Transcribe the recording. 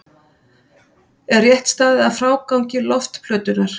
Er rétt staðið að frágangi loftplötunnar?